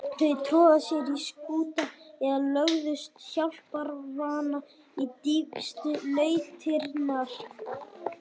Þau tróðu sér í skúta eða lögðust hjálparvana í dýpstu lautirnar.